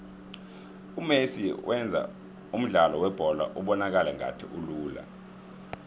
umesi wenza umdlalo webholo ubonakale ngathi ulula